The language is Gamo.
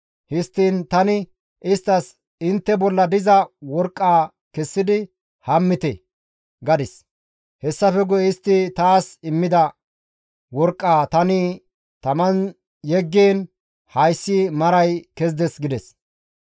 Histtiin tani isttas, ‹Intte bolla diza worqqaa kessidi hammite› gadis; hessafe guye istti taas immida worqqaa tani taman yeggiin hayssi maray kezides» gides.